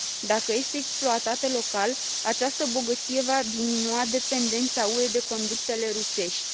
Dacă este exploatată local, această bogăție va diminua dependența UE de conductele rusești.